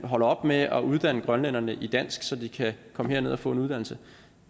holder op med at uddanne grønlænderne i dansk så de kan komme herned og få en uddannelse